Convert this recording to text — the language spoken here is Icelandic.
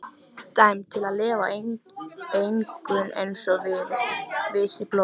Dæmd til að lifa á enginu einsog visið blóm.